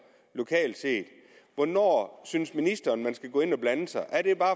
lokalt set hvornår synes ministeren man skal gå ind og blande sig er det bare